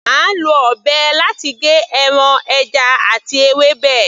À ń lọ ọ̀bẹ láti gé ẹran, ẹja àti ewébẹ̀.